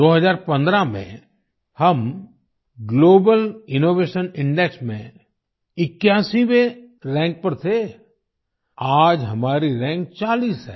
2015 में हम global innovation index में 81वें रैंक पर थे आज हमारी रैंक 40 है